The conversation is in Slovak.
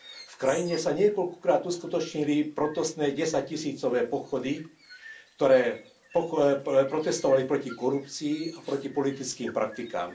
V krajine sa niekoľkokrát uskutočnili protestné desaťtisícové pochody, ktoré protestovali proti korupcii a proti politickým praktikám.